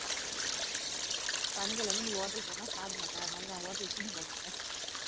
சனிக்கிழமை நீ hotel போனா சாப்பிட மாட்டே அதனால நான் hotel க்கு கூட்டிட்டு போக மாட்டேன்